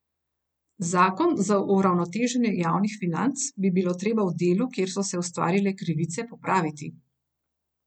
Zakon za uravnoteženje javnih financ bi bilo treba v delu, kjer so se ustvarile krivice, popraviti.